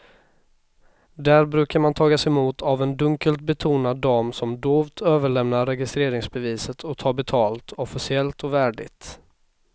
Där brukar man tagas emot av en dunkelt betonad dam som dovt överlämnar registreringsbeviset och tar betalt, officiellt och värdigt.